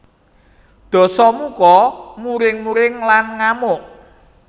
Dasamuka muring muring lan ngamuk